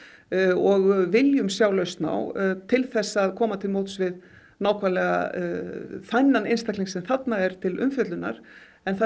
og viljum sjá lausn á til þess að koma til móts við nákvæmlega þennan einstakling sem þarna er til umfjöllunar en það